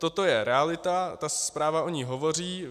Toto je realita, ta zpráva o ní hovoří.